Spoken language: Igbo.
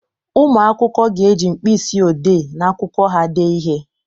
Ụmụ akwụkwọ ga-eji mkpịsị odee na akwụkwọ ha dee ihe.